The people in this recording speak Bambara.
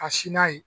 Ka s n'a ye